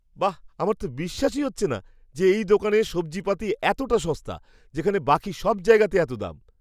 বাহ্, আমার তো বিশ্বাসই হচ্ছে না যে, এই দোকানে সবজিপাতি এতটা সস্তা, যেখানে বাকি সব জায়গাতে এত এত দাম!